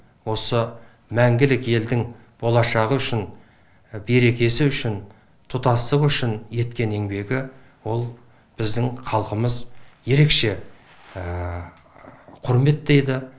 осы мәңгілік елдің болашағы үшін берекесі үшін тұтастығы үшін еткен еңбегі ол біздің халқымыз ерекше құрметтейді